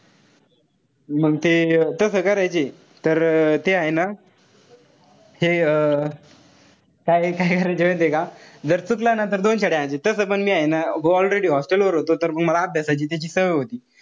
मंग ते तस करायचे. तर ते हाये ना हे काय काय करायचे माहितीये का. जर चुकला ना तर दोन तस पण मी हाये ना already hostel वर होतो तर मला अभ्यासाची त्याची सवय होती.